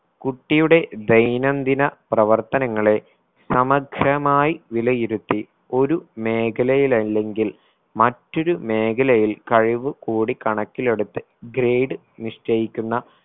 കുട്ടിയുടെ ദൈനംദിന പ്രവർത്തനങ്ങളെ സമഗ്രമായി വിലയിരുത്തി ഒരു മേഖലയില്ലെങ്കിൽ മറ്റൊരു മേഖലയിൽ കഴിവ് കൂടി കണക്കിലെടുത്ത് grade നിശ്ചയിക്കുന്ന